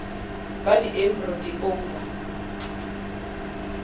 ba di embryo di ova